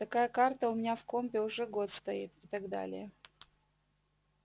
такая карта у меня в компе уже год стоит и так далее